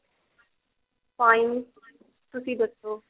fine ਤੁਸੀਂ ਦੱਸੋ